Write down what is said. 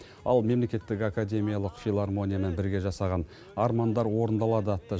ал мемлекеттік академиялық филармониямен бірге жасаған армандар орындалады атты